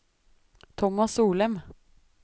Tomas Solem